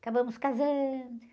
Acabamos casando.